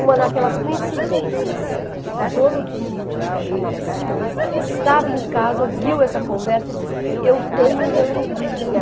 Uma daquelas coincidências, o dono dos sítios, que chamava Simões, estava em casa, ouviu essa conversa e disse, eu tenho e eu empresto.